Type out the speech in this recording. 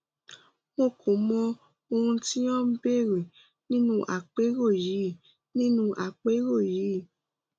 mo kò mọ ohun tí o ń béèrè nínú àpérò yìí nínú àpérò yìí